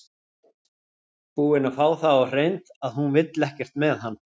Búinn að fá það á hreint að hún vill ekkert með hann.